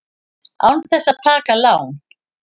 Án þess að taka lán!